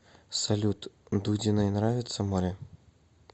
салют дудиной нравится море